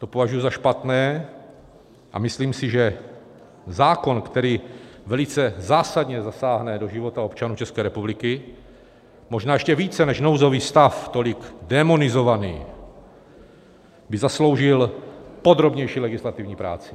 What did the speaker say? To považuji za špatné a myslím si, že zákon, který velice zásadně zasáhne do života občanů České republiky, možná ještě více než nouzový stav, tolik démonizovaný, by zasloužil podrobnější legislativní práci.